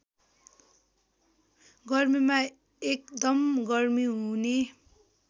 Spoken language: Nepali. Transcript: गर्मीमा एकदम गर्मी हुने